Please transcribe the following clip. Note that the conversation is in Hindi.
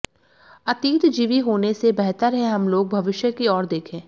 अतीतजीवी होने से बेहतर है हम लोग भविष्य की ओर देखें